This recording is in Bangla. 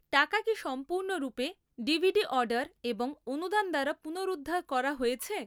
টাকা কি সম্পূর্ণরূপে ডিভিডি অর্ডার এবং অনুদান দ্বারা পুনরুদ্ধার করা হয়েছে?